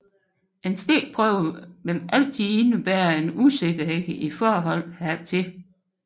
En stikprøve vil altid indebære en usikkerhed i forhold hertil